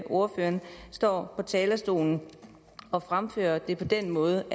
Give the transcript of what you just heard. ordføreren står på talerstolen og fremfører det på den måde